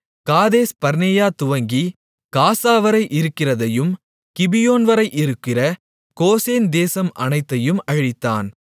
காதேஸ்பர்னேயா துவங்கிக் காசாவரை இருக்கிறதையும் கிபியோன்வரை இருக்கிற கோசேன் தேசம் அனைத்தையும் அழித்தான்